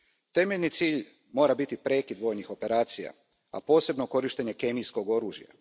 Temeljni cilj mora biti prekid vojnih operacija, a posebno korištenja kemijskog oružja.